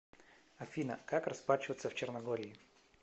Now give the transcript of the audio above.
афина как расплачиваться в черногории